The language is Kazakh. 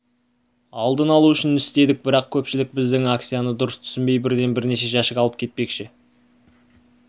алдын алу үшін істедік бірақ көпшілік біздің акцияны дұрыс түсінбей бірден бірнеше жәшік алып кетпекші